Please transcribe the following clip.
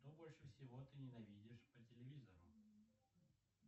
что больше всего ты ненавидишь по телевизору